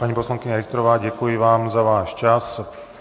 Paní poslankyně Richterová, děkuji vám za váš čas.